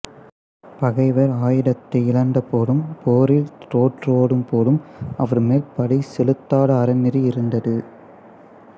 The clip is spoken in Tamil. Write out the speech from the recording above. பகைவர் ஆயுதத்தை இழந்த போதும் போரில் தோற்றோடும் போதும் அவர் மேல் படை செலுத்தாத அறநெறி இருந்தது